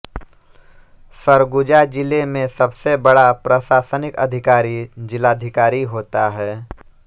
सरगुजा जिले में सबसे बड़ा प्रशासनिक अधिकारी जिलाधिकारी होता है